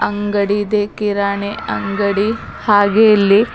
ಅಂಗಡಿ ಇದೆ ಕಿರಾಣಿ ಅಂಗಡಿ ಹಾಗೆ ಇಲ್ಲಿ--